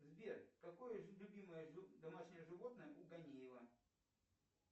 сбер какое любимое домашнее животное у ганиева